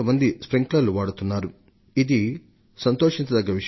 ఈ విషయాలు నిజంగా శుభ వార్త వంటివే